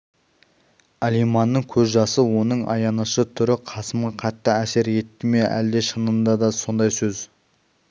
алиманның көз жасы оның аянышты түрі қасымға қатты әсер етті ме әлде шынында да сондай сөз